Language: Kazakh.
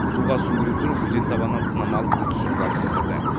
суға сүңгіру түсіріп өзен табанынан сынама алып өз тұжырымдарын білдірді